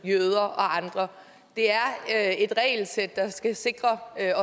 jøder og andre det er et regelsæt der skal sikre